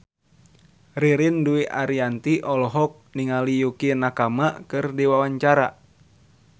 Ririn Dwi Ariyanti olohok ningali Yukie Nakama keur diwawancara